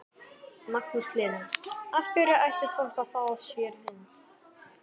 Magnús Hlynur: Af hverju ætti fólk að fá sér hund?